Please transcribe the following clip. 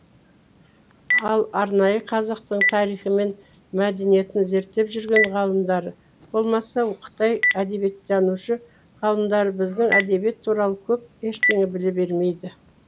ал арнайы қазақтың тарихы мен мәдениетін зерттеп жүрген ғалымдары болмаса қытай әдебиеттанушы ғалымдары біздің әдебиет туралы көп ештеңе біле бермейді